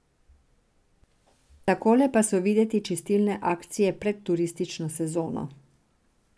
Takole pa so videti čistilne akcije pred turistično sezono.